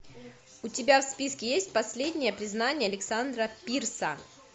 у тебя в списке есть последнее признание александра пирса